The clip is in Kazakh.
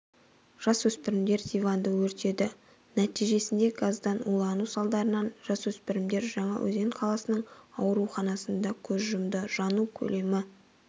жасөспірімдер диванды өртеді нәтижесінде газдан улану салдарынан жасөспірімдер жаңа-өзен қаласының ауруханасында көз жұмды жану көлемі